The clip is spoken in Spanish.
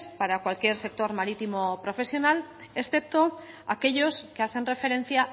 para cualquier sector marítimo profesional excepto aquellos que hacen referencia a